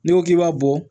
N'i ko k'i b'a bɔ